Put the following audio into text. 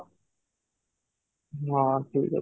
ହଁ, ଠିକ ଅଛି